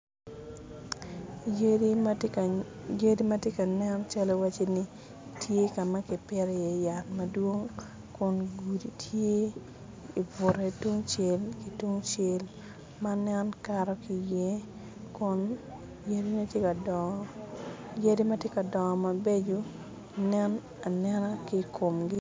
Yadi matye ka nen cal waci ka ma ki pito iye yat madwong kun gudi tye i bute tungcel ki tungcel ma nen kato ki iye kun yadi matye ka dongo, yadi matye ka dongo mabeco nen anena ki komgi